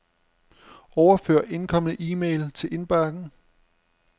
Overfør indkomne e-mail til indbakken.